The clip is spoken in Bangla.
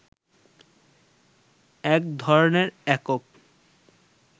এক ধরনের একক